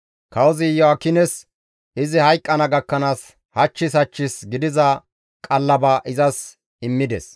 Kawozi Iyo7aakines izi hayqqana gakkanaas hachchis hachchis gidiza qallaba izas immides.